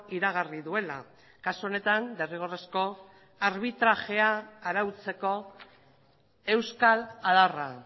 iragarri duela kasu honetan derrigorrezko arbitrajea arautzeko euskal adarra